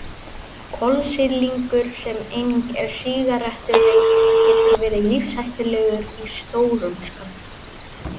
Kolsýrlingur sem einnig er í sígarettureyk getur verið lífshættulegur í stórum skömmtum.